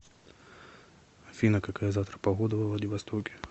афина какая завтра погода во владивостоке